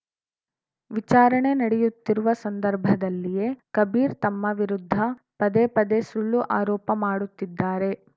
ವಿಚಾರಣೆ ನಡೆಯುತ್ತಿರುವ ಸಂದರ್ಭದಲ್ಲಿಯೇ ಕಬೀರ್‌ ತಮ್ಮ ವಿರುದ್ಧ ಪದೇಪದೇ ಸುಳ್ಳು ಆರೋಪ ಮಾಡುತ್ತಿದ್ದಾರೆ